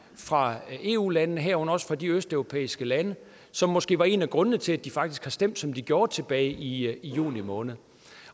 fra eu landene herunder også fra de østeuropæiske lande som måske var en af grundene til at de faktisk stemte som de gjorde tilbage i juni måned